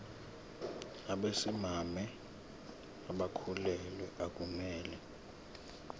nabesimame abakhulelwe akumele